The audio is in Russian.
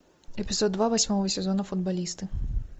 эпизод два восьмого сезона футболисты